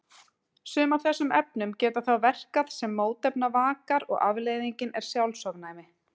Sum af þessum efnum geta þá verkað sem mótefnavakar og afleiðingin er sjálfsofnæmi.